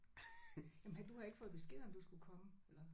Jamen havde du havde ikke fået besked om du skulle komme eller